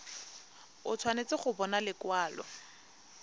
o tshwanetse go bona lekwalo